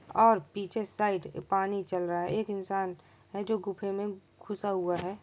और पीछे साइड पानी चल रहा है एक इंसान है जो गुफे मे घुसा हुआ है।